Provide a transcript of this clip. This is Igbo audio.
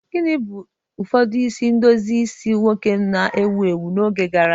Gịnị bụ ụfọdụ isi edozi isi ndị nwoke na-ewu ewu n'oge gara aga?